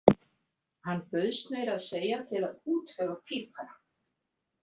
Hann bauðst meira að segja til að útvega pípara.